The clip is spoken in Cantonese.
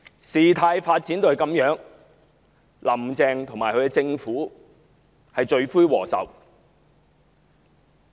事態發展至這樣的局面，"林鄭"及其政府是罪魁禍首。